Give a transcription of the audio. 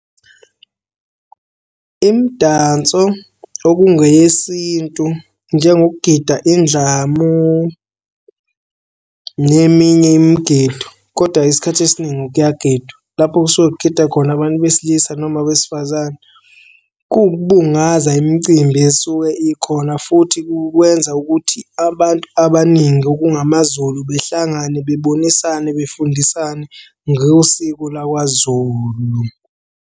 Imidanso okungeyesintu njengokugida indlamu neminye imigido, kodwa isikhathi esiningi kuyagidwa. Lapho kusuke kugida khona abantu besilisa noma abesifazane. Kuwukubungaza imcimbi esuke ikhona futhi kukwenza ukuthi abantu abaningi okungamaZulu behlangane bebonisane befundisane ngosiko lakwaZulu.